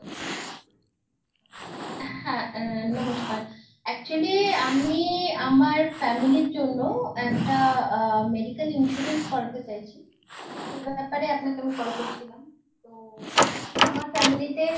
হ্যাঁ আহ নমস্কার actually আমি আমার family র জন্য একটা আ medical insurance করাতে চাইছি। তো সেই ব্যাপারে আপনাকে আমি call করছিলাম, তো actually আমার family তে